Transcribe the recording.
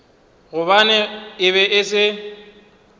gobane e be e se